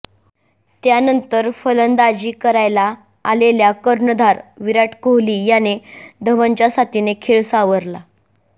त्यानंतर फलंदाजी करायला आलेल्या कर्णधार विराट कोहली याने धवनच्या साथीने खेळ सावरला